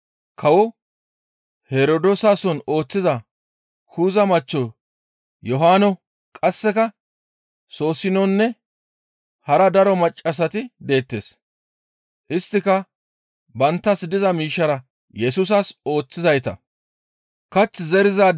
Kawo Herdoosason ooththiza Kuza machcho Yohaano qasseka Soosinonne hara daro maccassati deettes; isttika banttas diza miishshara Yesusas ooththizayta.